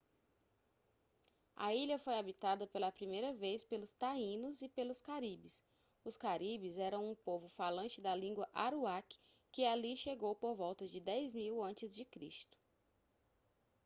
a ilha foi habitada pela primeira vez pelos taínos e pelos caribes os caribes eram um povo falante da língua aruaque que ali chegou por volta de 10.000 ac